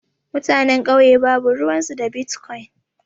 Mutanen kauye babu ruwan su da bitkwon.